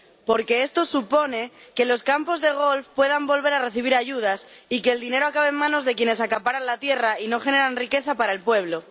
porque esto supone que los campos de golf puedan volver a recibir ayudas y que el dinero acabe en manos de quienes acaparan la tierra y no generan riqueza para el pueblo.